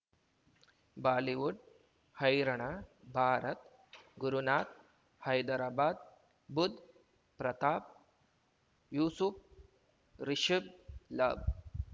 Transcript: Bollywood ಹೈರಾಣ ಭಾರತ್ ಗುರುನಾಥ್ ಹೈದರಾಬಾದ್ ಬುಧ್ ಪ್ರತಾಪ್ ಯೂಸುಫ್ ರಿಷಬ್ ಲಾಭ್